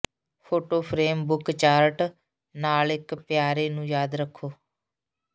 photo frame book chart ਨਾਲ ਇੱਕ ਪਿਆਰੇ ਨੂੰ ਯਾਦ ਰੱਖੋ